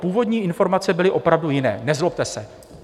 Původní informace byly opravdu jiné, nezlobte se."